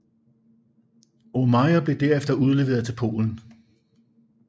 Aumeier blev derefter udleveret til Polen